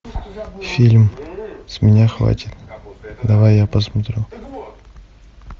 фильм с меня хватит давай я посмотрю